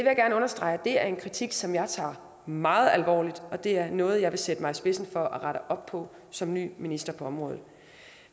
jeg gerne understrege er en kritik som jeg tager meget alvorligt og det er noget jeg vil sætte mig i spidsen for at rette op på som ny minister på området